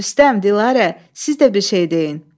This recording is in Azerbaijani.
Rüstəm, Dilara, siz də bir şey deyin.